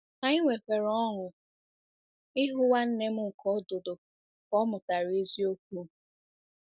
Anyị nwekwara ọṅụ ịhụ nwanne m nke ọdụdụ ka ọ mụtara eziokwu.